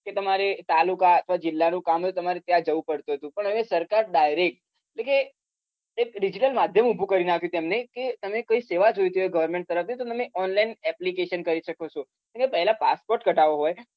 કે તમારે તાલુકા અથવા જીલ્લા નું કામ ત્યાં જવું પડતું હતું પણ હવે સરકાર direct જે digital માધ્યમ ઉભું નાખ્યું છે તેમને તમને કઈ સેવા જોઈતી government તરફ થી તો તમે online application કરી શકો છો પહેલા passport કાઢવો હોય